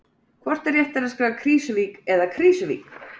Hvort er réttara að skrifa Krýsuvík eða Krísuvík?